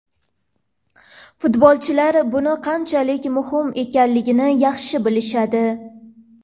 Futbolchilar buning qanchalar muhim ekanini yaxshi bilishadi.